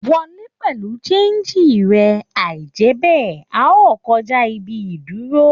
Wọ lè pẹlú sanji rẹ, aijẹbẹ́, a o kọjá ibi ìdúró.